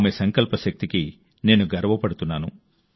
ఆమె సంకల్ప శక్తికి నేను గర్వపడుతున్నాను